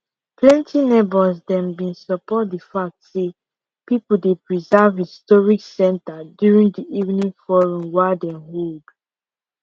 plenty neighbors them been support the fact say people dey preserve historic center during the evening forum wa dem hold